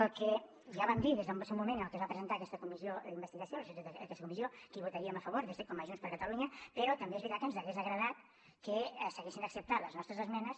el que ja vam dir des del moment en què es va presentar aquesta comissió d’investigació la institució d’aquesta comissió que hi votaríem a favor com a junts per catalunya però també és veritat que ens hauria agradat que s’haguessin acceptat les nostres esmenes